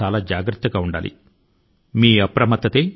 మన జాగరూకతే మనలను కరోనా బారి నుండి కాపాడగలుగుతుంది